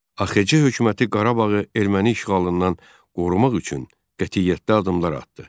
AXC Hökuməti Qarabağı erməni işğalından qorumaq üçün qətiyyətli addımlar atdı.